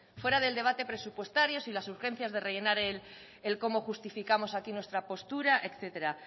fuera del debate presupuestario sin las urgencias de rellenar el cómo justificamos aquí nuestra postura etcétera